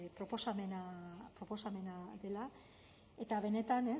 proposamena dela eta benetan